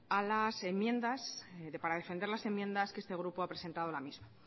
a las enmiendas para defender las enmiendas que este grupo ha presentado a la misma